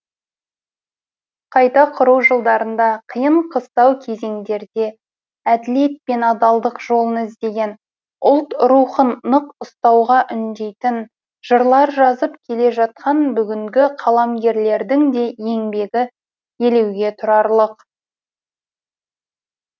қайта құру жылдарында қиын қыстау кезеңдерде әділет пен адалдық жолын іздеген ұлт рухын нық ұстауға үндейтін жырлар жазып келе жатқан бүгінгі қаламгерлердің де еңбегі елеуге тұрарлық